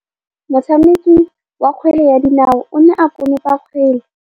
Motshameki wa kgwele ya dinaô o ne a konopa kgwele.